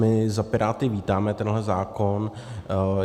My za Piráty vítáme tenhle zákon.